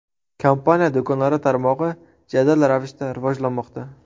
Kompaniya do‘konlari tarmog‘i jadal ravishda rivojlanmoqda.